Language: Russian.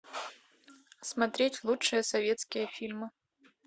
смотреть лучшие советские фильмы